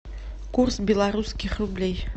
курс белорусских рублей